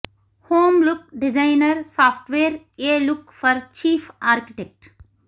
home look designer software a look for chief architect